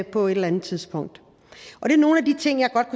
på et eller andet tidspunkt det er nogle af de ting jeg godt